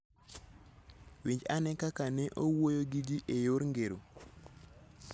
Winj ane kaka ne owuoyo gi ji e yor ngero: